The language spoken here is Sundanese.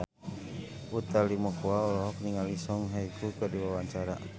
Utha Likumahua olohok ningali Song Hye Kyo keur diwawancara